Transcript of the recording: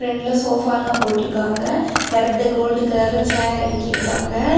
பிரெண்ட்ல sofa எல்லாம் போட்டிருக்காங்க. பெறது கோல்ட் கலர்ல சேர் அடுக்கிருக்காங்க.